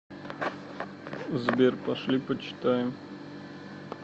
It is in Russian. сбер пошли почитаем